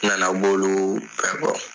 N nana b'olu bɛ kɔ.